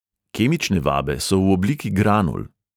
Kemične vabe so v obliki granul.